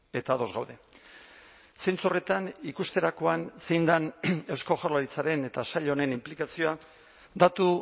eta ados gaude zentzu horretan ikusterakoan zein den eusko jaurlaritzaren eta sail honen inplikazioa datu